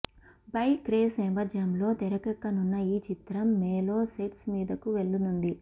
bike race నేపథ్యంలో తెరకెక్కనున్న ఈ చిత్రం మే లో సెట్స్ మీదకు వెళ్లనుంది